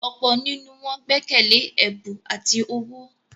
ọ̀pọ̀ nínú wọn gbẹ́kẹ̀lẹ́ “ẹ̀bù ati owó ”.